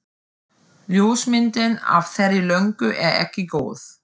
Ljósmyndin af þeirri löngu er ekki góð.